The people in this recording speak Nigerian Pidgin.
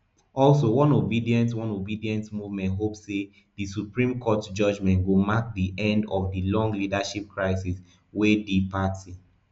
also one obedient one obedient movement hope say di supreme court judgement go mark di end of di long leadership crisis within di party